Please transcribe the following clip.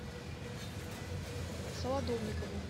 солодовникову